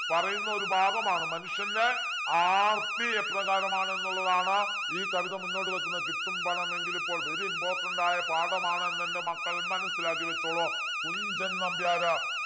പറയുന്ന ഒരു ഭാഗമാണ് മനുഷ്യൻ്റെ ആർത്തി എപ്രകാരമാണെന്നുള്ളതാണ് ഈ കവിത മുന്നോട്ട് വെക്കുന്നത് കിട്ടും പണമെങ്കിലിപ്പോൾ very important ആയ പാഠമാണ് എന്നെൻ്റെ മക്കൾ മനസ്സിലാക്കി വെച്ചോളൂ കുഞ്ചൻ നമ്പ്യാർ